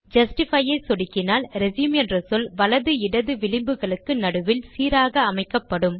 justify ஐ சொடுக்கினால் resume என்ற சொல் வலது இடது விளிம்புகளுக்கு நடுவில் சீராக அமைக்கப்படும்